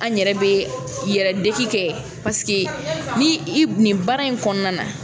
An yɛrɛ bɛ yɛrɛdeki kɛ ni i nin baara in kɔnɔna na